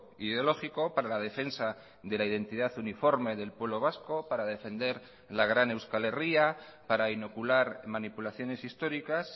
ideológico para la defensa de la identidad uniforme del pueblo vasco para defender la gran euskal herria para inocular manipulaciones históricas